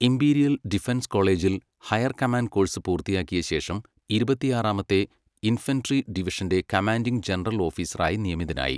Imperial defence കോളേജിൽ higher command course പൂർത്തിയാക്കിയ ശേഷം, ഇരുപത്തിയാറാമത്തെ ഇൻഫൻട്രി ഡിവിഷന്റെ കമാൻഡിംഗ് ജനറൽ ഓഫീസറായി നിയമിതനായി.